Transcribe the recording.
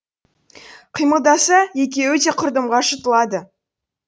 қимылдаса екеуі де құрдымға жұтылады